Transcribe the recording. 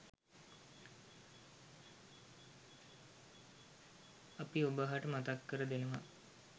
අපි ඔබහට මතක් කර දෙනවා.